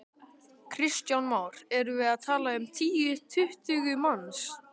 Kristján Már: Erum við að tala um tíu, tuttugu manns?